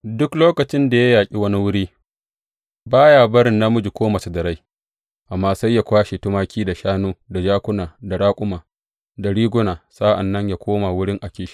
Duk lokacin da ya yaƙi wani wuri, ba ya barin namiji ko mace da rai, amma sai ya kwashe tumaki, da shanu, da jakuna, da raƙuma, da riguna, sa’an nan yă koma wurin Akish.